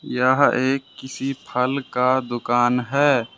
यह एक किसी फल का दुकान है।